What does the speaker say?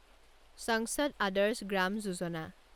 সংসদ আদৰ্শ গ্ৰাম যোজনা